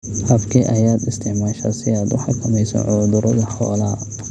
Habkee ayaad isticmaashaa si aad u xakamayso cudurada xoolaha?